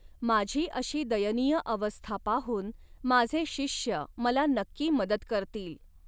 माझी अशी दयनीय अवस्था पाहून माझे शिष्य मला नक्की मदत करतील.